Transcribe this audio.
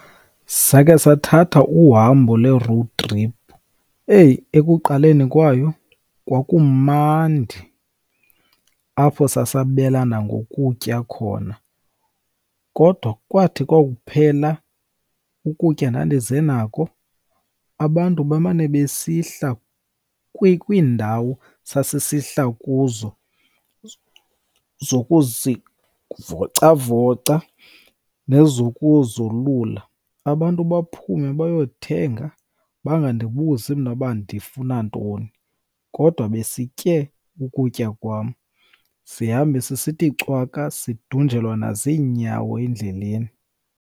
Sakhe sathatha uhambo le-road trip. Eyi ekuqaleni kwayo kwakumandi, apho sasabelana ngokutya khona. Kodwa kwathi kwaphela ukutya ndandize nako, abantu bemane besihla kwindawo sasisihla kuzo zokuzivocavoca nezokuzolula. Abantu baphume bayothenga, bangandibuzi mna uba ndifuna ntoni kodwa besitye ukutya kwam. Sihambe sisithi cwaka sidunjelwa nazinyawo endleleni.